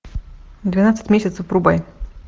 двенадцать месяцев врубай